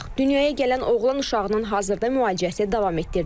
Dünyaya gələn oğlan uşağının hazırda müalicəsi davam etdirilir.